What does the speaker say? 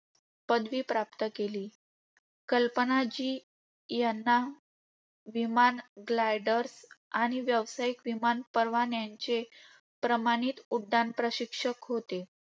पदवी प्राप्त केली. कल्पना जी यांना विमान, gliders आणि व्यावसायिक विमान परवान्यांचे प्रमाणित उड्डाण प्रशिक्षक होते.